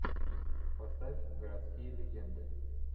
поставь городские легенды